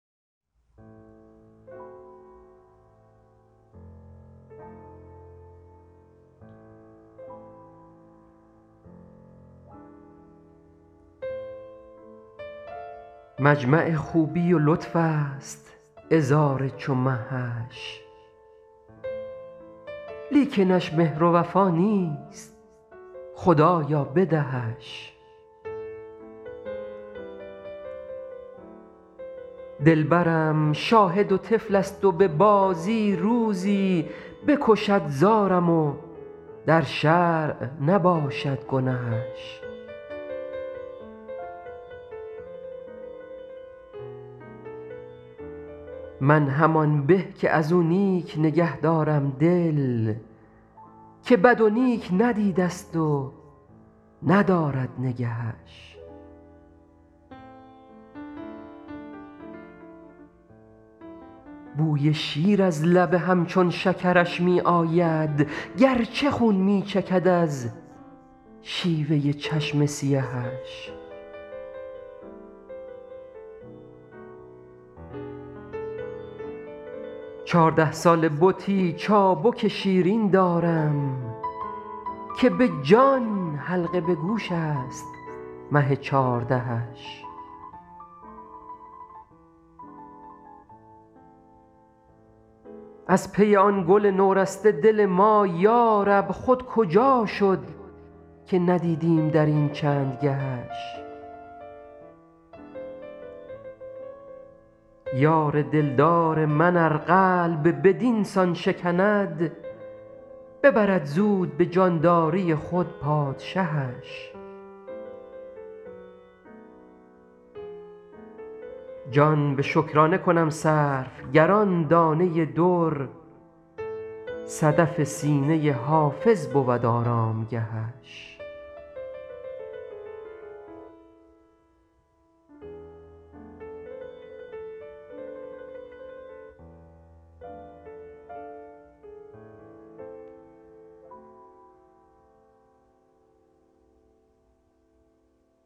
مجمع خوبی و لطف است عذار چو مهش لیکنش مهر و وفا نیست خدایا بدهش دلبرم شاهد و طفل است و به بازی روزی بکشد زارم و در شرع نباشد گنهش من همان به که از او نیک نگه دارم دل که بد و نیک ندیده ست و ندارد نگهش بوی شیر از لب همچون شکرش می آید گرچه خون می چکد از شیوه چشم سیهش چارده ساله بتی چابک شیرین دارم که به جان حلقه به گوش است مه چاردهش از پی آن گل نورسته دل ما یارب خود کجا شد که ندیدیم در این چند گهش یار دلدار من ار قلب بدین سان شکند ببرد زود به جانداری خود پادشهش جان به شکرانه کنم صرف گر آن دانه در صدف سینه حافظ بود آرامگهش